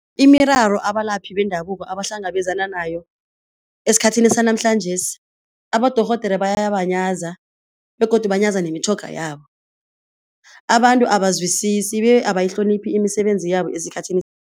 Imiraro abalaphi bendabuko abahlangabezana nayo esikhathini sanamhlanjesi. Abadorhodere bayabanyaza begodu banyaza nemitjhoga yabo, abantu abazwisisi be abayihloniphi imisebenzi yabo esikhathini